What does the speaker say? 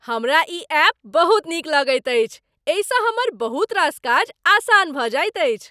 हमरा ई एप बहुत नीक लगैत अछि, एहिसँ हमर बहुत रास काज आसान भऽ जाइत अछि।